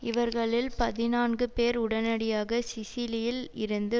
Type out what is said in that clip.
இவர்களில் பதினான்கு பேர் உடனடியாக சிசிலியில் இருந்து